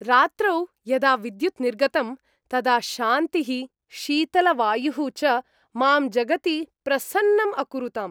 रात्रौ यदा विद्युत् निर्गतम्, तदा शान्तिः शीतलवायुः च मां जगति प्रसन्नम् अकुरुताम्।